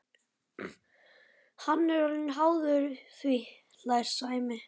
Hann er orðinn háður því, hlær Sæmi.